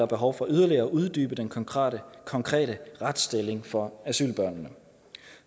behov for yderligere at uddybe den konkrete konkrete retsstilling for asylbørnene